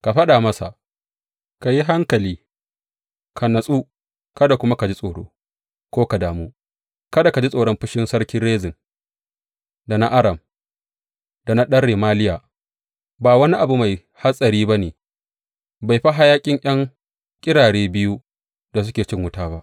Ka faɗa masa, Ka yi hankali, ka natsu kada kuma ka ji tsoro ko ka damu, kada ka ji tsoron fushin sarki Rezin da na Aram da na ɗan Remaliya, ba wani abu mai hatsari ba ne, bai fi hayaƙin ’yan ƙirare biyu da suke cin wuta ba.